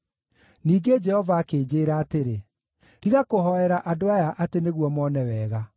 Ningĩ Jehova akĩnjĩĩra atĩrĩ, “Tiga kũhoera andũ aya atĩ nĩguo mone wega.